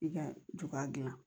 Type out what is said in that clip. I ka ju ka gilan